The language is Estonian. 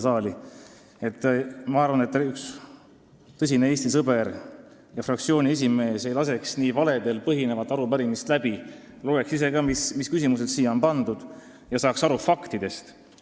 Ma arvan, et üks tõsine Eesti sõber ja fraktsiooni esimees ei laseks niisugust valedel põhinevat arupärimist läbi, vaid loeks ise ka, mis küsimused siia on pandud, ja saaks aru faktidest.